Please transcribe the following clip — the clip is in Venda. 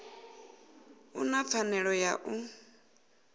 u na pfanelo ya u